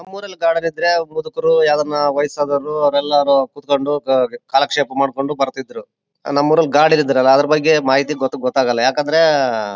ನಮ್ಮೂರಲ್ಲಿ ಗಾರ್ಡನ ಇದ್ರೆ ಮುದುಕರು ಯಾರನ ವಯಸ್ಸಾದವರು ಅವರೆಲ್ಲರೂ ಕುತ್ಕೊಂಡು ಕಾಲಕ್ಷೇಪ ಮಾಡ್ಕೊಂಡ್ ಬರ್ತಿದ್ರು ನಮ್ ಊರಲ್ಲಿ ಗಾರ್ಡನ ಇಲ್ಲ ಅದ್ರ ಬಗ್ಗೆ ಮಾಹಿತಿ ಗೊತ್ತಾಗಲ್ಲ ಯಾಕಂದ್ರೆ --